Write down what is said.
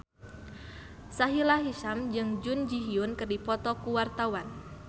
Sahila Hisyam jeung Jun Ji Hyun keur dipoto ku wartawan